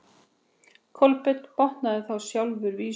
Kolbeinn botnaði þá sjálfur vísuna: